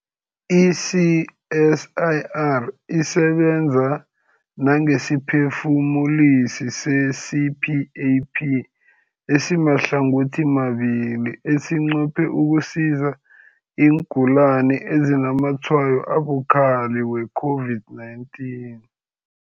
I-CSIR isebenza nangesiphefumulisi se-CPAP esimahlangothimabili esinqophe ukusiza iingulani ezinazamatshwayo abukhali we-COVID-19.